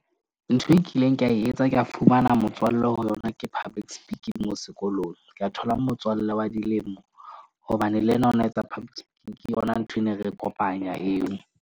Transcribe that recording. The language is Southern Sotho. Ntho e kileng ka e etsa ka fumana motswalle ho yona. Ke public speaking moo sekolong, ka thola motswallle wa dilemo hobane le yena o na etsa public speaking ke yona nthwe re ne ikopanya eo.